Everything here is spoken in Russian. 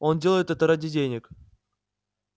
он делает это ради денег